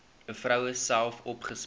vroue self opgespoor